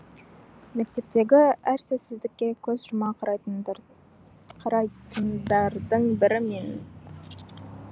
мектептегі әр сәтсіздікке көз жұма қарайтындардың бірі мен